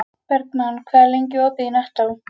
Bergmann, hvað er lengi opið í Nettó?